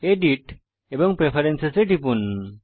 edit এবং preference এ টিপুন